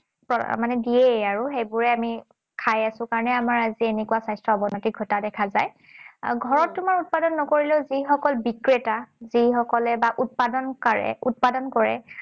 মানে দিয়েও আৰু। সেইবোৰে আমি খাই আছোঁ কাৰণেই আজি আমাৰ স্বাস্থ্যৰ অৱনতি ঘটা দেখা যায়। আৰু ঘৰত তোমাৰ উৎপাদন নকৰিলেও যিসকল বিক্ৰেতা, যিসকলে বা উৎপাদন কাৰে উৎপাদন কৰে,